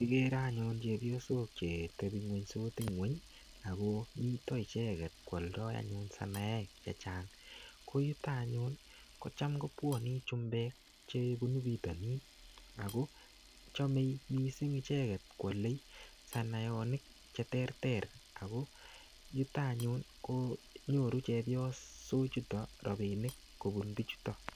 Kikere anyun cheoyosok chetebiye ngweny sikotile ngweny Ako miten icheket kwoldo anyun sinoek chechang ko yuton any anyun kotam kobwone chumbek chebunu pitonin Ako chome missing icheket kwole sonayonik cheterter ako yuton anyun ko nyoru chepyosok chuton rabinik kobun bichututon.